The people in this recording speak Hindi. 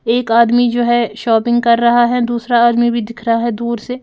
एक आदमी जो है शॉपिंग कर रहा है दूसरा आदमी भी दिख रहा है दूर से।